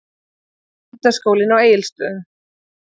Menntaskólanum á Egilsstöðum.